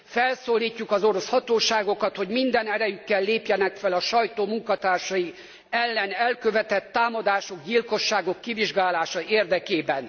Felszólítjuk az orosz hatóságokat, hogy minden erejükkel lépjenek fel a sajtó munkatársai ellen elkövetett támadások, gyilkosságok kivizsgálása érdekében.